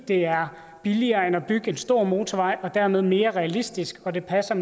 er billigere end at bygge en stor motorvej og dermed mere realistisk og det passer